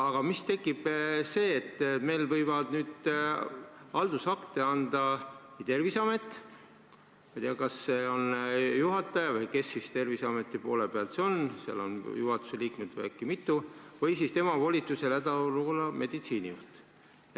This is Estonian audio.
Aga tekib see, et meil võivad haldusakte anda Terviseamet või tema volitusel hädaolukorra meditsiinijuht.